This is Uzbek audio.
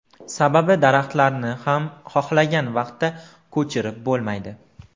Sababi daraxtlarni ham xohlagan vaqtda ko‘chirib bo‘lmaydi.